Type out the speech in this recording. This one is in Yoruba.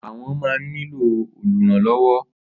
Àwọn ma ń ní lò olùrànlọ̀wọ́.